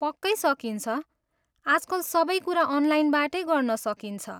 पक्कै सकिन्छ! आजकल सबै कुरा अनलाइनबाटै गर्न सकिन्छ।